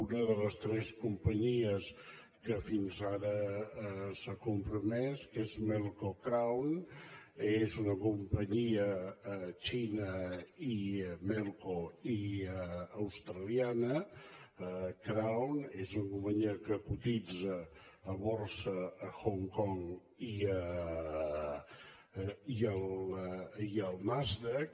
una de les tres companyies que fins ara s’ha compromès que és mel·co crown és una companyia xinesa melco i austra·liana crown és una companyia que cotitza a borsa a hong kong i al nasdaq